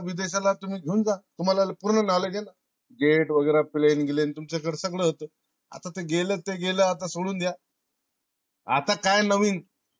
तुम्ही देशाला तुम्ही घेऊन जा. तुम्हाला पूर्ण knowledge ये ना jet वगैरे plane ग्लेन वगैरे तुमच्याकडे सगळ होत. आता गेल ते गेल आता सगळ सोडून द्या. आता काय नवीन